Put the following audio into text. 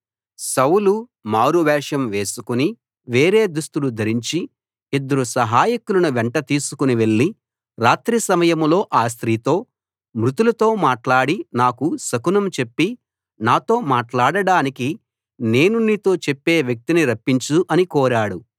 సౌలు మారువేషం వేసుకుని వేరే దుస్తులు ధరించి ఇద్దరు సహాయకులను వెంట తీసుకుని వెళ్ళి రాత్రి సమయంలో ఆ స్త్రీతో మృతులతో మాట్లాడి నాకు శకునం చెప్పి నాతో మాట్లాడడానికి నేను నీతో చెప్పే వ్యక్తిని రప్పించు అని కోరాడు